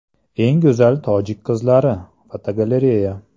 Eng go‘zal tojik qizlari (fotogalereya).